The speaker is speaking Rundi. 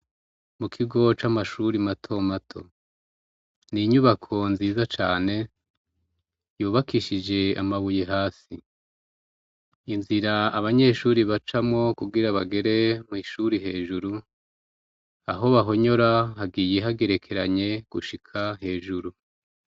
Ikigo c'amashure mato mato, ni inyubako nziza cane yubakishije amabuye hasi, inzira abanyeshure bacamwo kugira bagere mw'ishuri hejuru aho bahonyora hagiye hagerekeranye gushika hejuru.